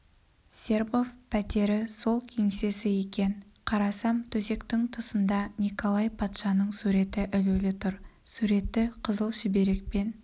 сербов пәтері сол кеңсесі екен қарасам төсектің тұсында николай патшаның суреті ілулі тұр суретті қызыл шүберекпен